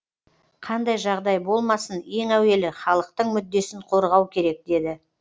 қандай жағдай болмасын ең әуелі халықтың мүддесін қорғау керек деді